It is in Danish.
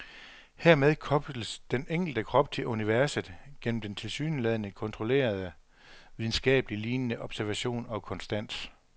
Hermed kobles den enkelte krop til universet gennem den tilsyneladende kontrollerede, videnskabeligt lignende, observation og konstans.